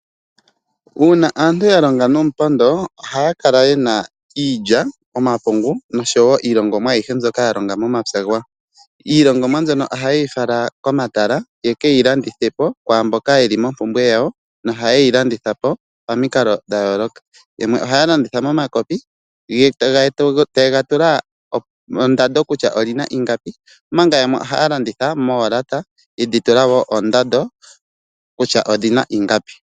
Uuna aantu ya longa nomupondo ohaya kala yena iilya, omapungu nosho wo iilongomwa ayihe mbyoka ya longa momapya gawo. Iilongomwa mbyono ohaye yi fala komatala yeke yi landithe po kwaamboka yeli mompumbwe yawo. Nohaye yi landitha pamikalo dhayooloka yamwe ohaya landitha momakopi taye ga tula ondando kutya olina ingapi, omanga yamwe ohaya landitha moolata yedhi tula wo oondando kutya odhina ingapi.